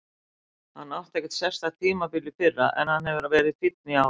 Hann átti ekkert sérstakt tímabil í fyrra en hann hefur verið fínn í ár.